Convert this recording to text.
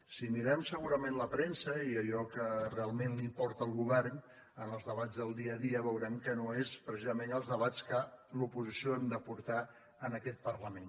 si mirem segurament la premsa i allò que realment li importa al govern en els debats del dia a dia veurem que no són precisament els de·bats que l’oposició hem de portar en aquest parlament